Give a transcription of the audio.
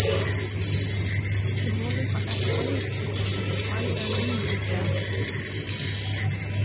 Við vonum að þetta hefjist sem fyrst, maí eða júní líklega.